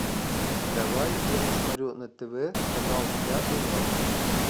давай я посмотрю на тв канал ля минор